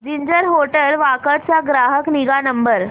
ginger hotel Wakad चा ग्राहक निगा नंबर